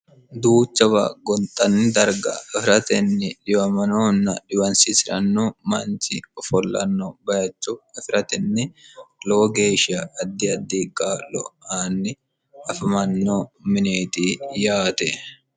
duuchawa gonxanni darga afiratenni diwamanonna diwansiisi'rannu manchi ofollanno bayachu afi'ratenni lowo geeshiya addi addii qaallo aanni hafamanno mineeti yaate